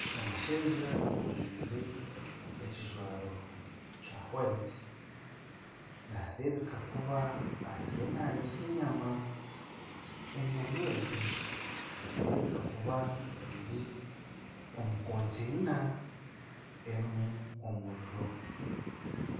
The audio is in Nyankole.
Omushaija ojwire ekijwaro kya hwayiti nareebeka kuba eriyo nayootsya enyama, enyama ezi nizireebeka kuba ziri omu konteyina erimu omuriro.